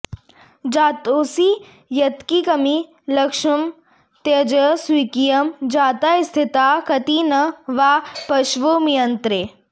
जातोऽसि यत्किमपि लक्ष्म त्यज स्वकीयं जाताः स्थिताः कति न वा पशवो म्रियन्ते